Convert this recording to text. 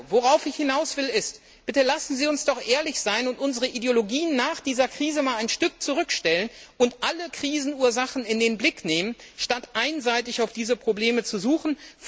Worauf ich hinaus will bitte lassen Sie uns doch ehrlich sein und unsere Ideologien nach dieser Krise ein Stück zurückstellen und alle Krisenursachen in den Blick nehmen, statt einseitig diese Probleme zu suchen.